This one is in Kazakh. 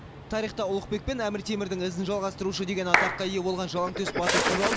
тарихта ұлықбек пен әмір темірдің ізін жалғастырушы деген атаққа ие болған жалаңтөс батыр туралы